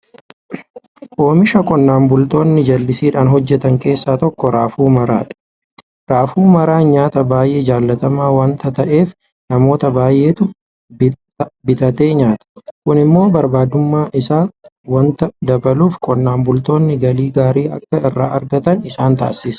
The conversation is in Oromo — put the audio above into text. Oomisha qonnaan bultoonni jallisiidhaan hojjetan keessaa tokko raafuu maraadha. Raafuu maraan nyaata baay'ee jaalatamaa waanta ta'eef namoota baay'eetu bitatee nyaata. Kun immoo barbaadamuu isaa waanta dabaluuf qonnaan bultoonni galii gaarii akka irraa argatan isaan taasisa.